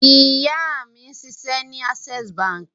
Ìyá mi ń ṣiṣẹ́ ní Access Báńkì.